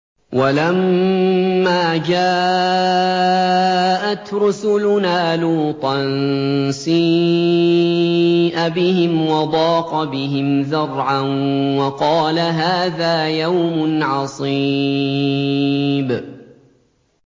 وَلَمَّا جَاءَتْ رُسُلُنَا لُوطًا سِيءَ بِهِمْ وَضَاقَ بِهِمْ ذَرْعًا وَقَالَ هَٰذَا يَوْمٌ عَصِيبٌ